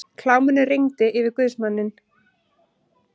Kláminu rigndi yfir guðsmanninn.